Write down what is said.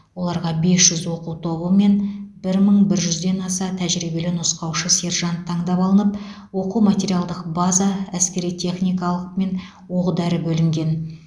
оларға бес жүз оқу тобы мен бір мың бір жүзден аса тәжірибелі нұсқаушы сержант таңдап алынып оқу материалдық база әскери техникалық мен оқ дәрі бөлінген